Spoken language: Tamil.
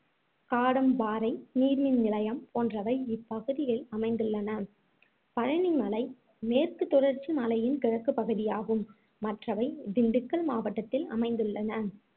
காடம்பாறை நீர்மின் நிலையம் போன்றவை இப்பகுதியில் அமைந்துள்ளன பழனி மலை மேற்கு தொடர்ச்சி மலையின் கிழக்குப் பகுதியாகும் மற்றவை திண்டுக்கல் மாவட்டத்தில் அமைந்துள்ளன